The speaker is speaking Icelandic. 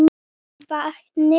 af vatni.